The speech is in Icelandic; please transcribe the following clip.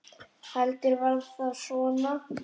Heldur var það svona!